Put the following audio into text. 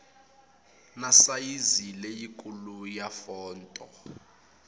na sayizi leyikulu ya fonto